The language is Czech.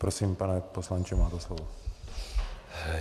Prosím, pane poslanče, máte slovo.